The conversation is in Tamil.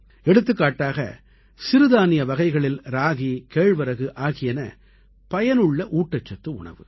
எடுத்துக்காட்டாக சிறுதானிய வகைகளில் ராகி கேழ்வரகு ஆகியன பயனுள்ள ஊட்டச்சத்து உணவு